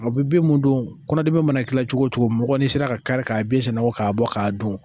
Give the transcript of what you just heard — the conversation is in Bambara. A bɛ bin mun dɔn kɔnɔdimi mana kɛ cogo cogo mɔgɔ n'i sera ka kari ka bin sɛnɛbɔ k'a bɔ k'a dun